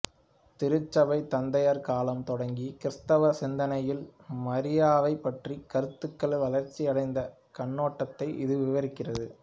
திருச்சபைத் தந்தையர் காலம் தொடங்கி கிறிஸ்தவ சிந்தனையில் மரியாவைப் பற்றிய கருத்துருக்கள் வளர்ச்சி அடைந்த கண்ணோட்டத்தை இது விவரிக்கிறது